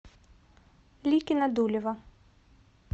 ликино дулево